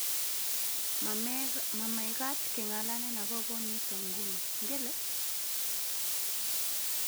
ma mekat ke ng'alalen akobo nito nguni, ngele?